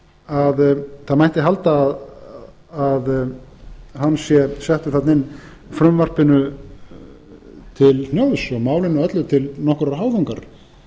að það mætti halda að hann sé settur þarna inn frumvarpinu til hnjóðs og málinu öllu til nokkurrar háðungar